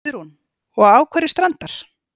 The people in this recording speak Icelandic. Guðrún: Og á hverju standar?